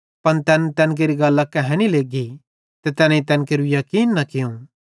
पन तैन तैन केरि गल्लां कहानी लग्गी ते तैनेईं तैन केरू याकीन न कियूं